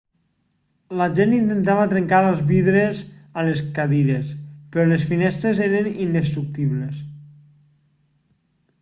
la gent intentava trencar els vidres amb les cadires però les finestres eren indestructibles